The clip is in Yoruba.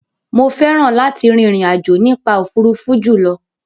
Mo fẹ́ràn láti rin ìrìn àjò nípa òfuurufú jùlọ.